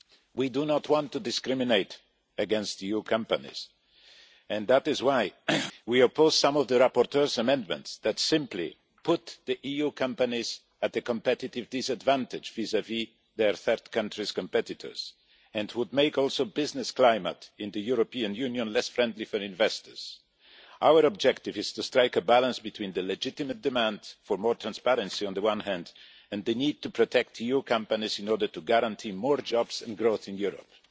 We do not want to discriminate against EU companies and that is why we oppose some of the rapporteur's amendments that simply put EU companies at a competitive disadvantage vis-à-vis their third country competitors, and which would also make the business climate in the European Union less friendly for investors. Our objective is to strike a balance between the legitimate demand for more transparency, on the one hand, and the need to protect EU companies in order to guarantee more jobs and growth in Europe.